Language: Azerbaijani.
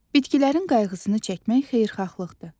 Bitkilərin qayğısını çəkmək xeyirxahlıqdır.